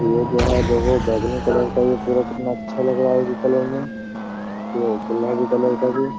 ये जो है देखो बैगनी कलर का ये पूरा कितना अच्छा लग रहा है ये कलर में ये गुलाबी कलर का भी।